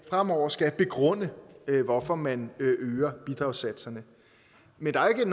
fremover skal begrunde hvorfor man øger bidragssatserne men der er